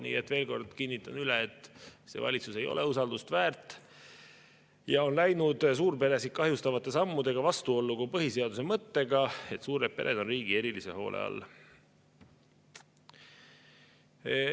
Nii et veel kord kinnitan üle: see valitsus ei ole usaldust väärt ja on läinud suurperesid kahjustavate sammudega vastuollu põhiseaduse mõttega, et suured pered on riigi erilise hoole all.